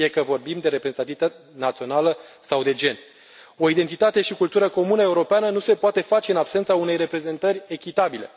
Fie că vorbim de reprezentativitate națională sau de gen. O identitate și cultură comună europeană nu se poate face în absența unei reprezentări echitabile.